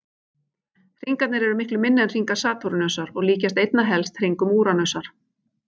Hringarnir eru miklu minni en hringar Satúrnusar og líkjast einna helst hringum Úranusar.